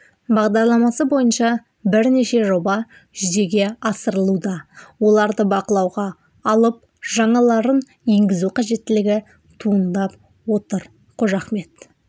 бағдарламасы бойынша бірнеше жоба жүзеге асырылуда оларды бақылауға алып жаңаларын енгізу қажеттілігі туындап отыр қожахмет